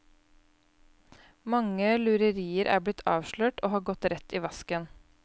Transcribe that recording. Mange lurerier er blitt avslørt og har gått rett i vasken.